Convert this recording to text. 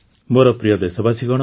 ମୋର ପ୍ରିୟ ଦେଶବାସୀଗଣ